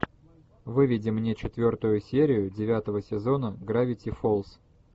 выведи мне четвертую серию девятого сезона гравити фолз